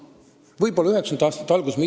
Võib-olla 1990. aastate alguses oli.